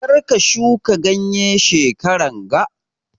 Karka shuka ganye shekaran ga